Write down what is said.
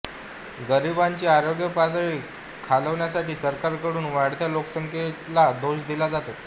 गरिबांची आरोग्य पातळी खालवण्यासाठी सरकार कडून वाढत्या लोकसंख्येला दोष दिला जातो